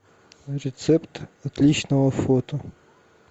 рецепт отличного фото